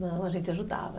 Não, a gente ajudava.